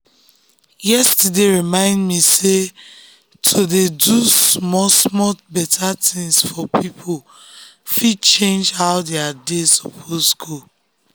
yesterday remind me sey to dey do small-small better things for people fit change how their day suppose go.